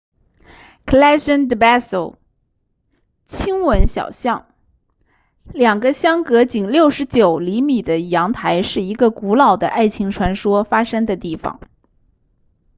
callejon del beso 亲吻小巷两个相隔仅69厘米的阳台是一个古老的爱情传说发生的地方